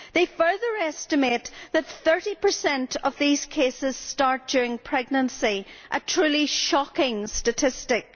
They further estimate that 30 of these cases start during pregnancy a truly shocking statistic.